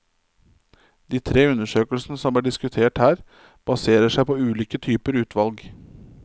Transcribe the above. De tre undersøkelsene som er diskutert her, baserer seg på ulike typer utvalg.